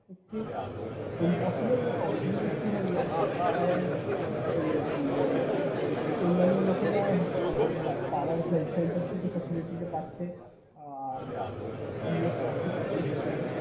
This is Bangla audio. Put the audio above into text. আহ Impossible নয় অসুবিধা একটু হয়ে যাবে। কারণ ওই আর কি মানে অন্যান্য লোকেরা আমার পাড়ার health center থেকে facility টা পাচ্ছে আর free of cost এ পাচ্ছে সেখানে।